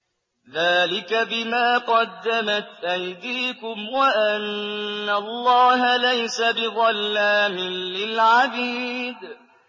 ذَٰلِكَ بِمَا قَدَّمَتْ أَيْدِيكُمْ وَأَنَّ اللَّهَ لَيْسَ بِظَلَّامٍ لِّلْعَبِيدِ